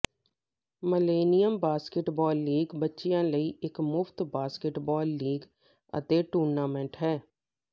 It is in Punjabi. ਮਲੇਨਿਅਮ ਬਾਸਕੇਟਬਾਲ ਲੀਗ ਬੱਚਿਆਂ ਲਈ ਇਕ ਮੁਫਤ ਬਾਸਕਟਬਾਲ ਲੀਗ ਅਤੇ ਟੂਰਨਾਮੈਂਟ ਹੈ